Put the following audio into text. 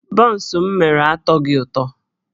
Bọns m mere atọghị ụtọ